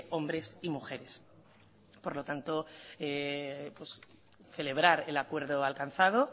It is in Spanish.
hombres y mujeres por lo tanto pues celebrar el acuerdo alcanzado